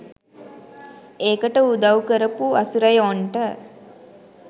ඒකට උදව් කරපු අසුරයොන්ට